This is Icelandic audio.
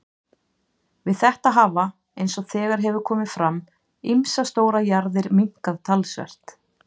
Við þetta hafa, eins og þegar hefur komið fram, ýmsar stórar jarðir minnkað talsvert.